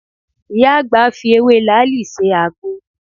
Ìyá àgbà fi ewé làáàlì se àgbo.